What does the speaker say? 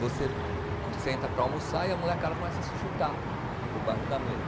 Você senta para almoçar e a molecada começa a se chutar por baixo da mesa.